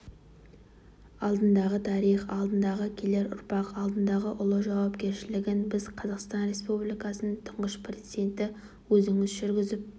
алдындағы тарих алдындағы келер ұрпақ алдындағы ұлы жауапкершілігін біз қазақстан республикасының тұңғыш президенті өзіңіз жүргізіп